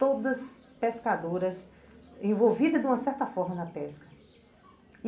todas pescadoras envolvidas de uma certa forma na pesca.